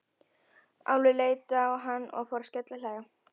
Álfur leit á hann og fór að skellihlæja.